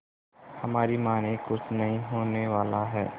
हमारी मानिए कुछ नहीं होने वाला है